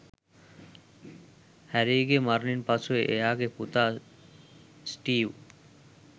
හැරීගේ මරණින් පසු එයාගේ පුතා ස්ටීව්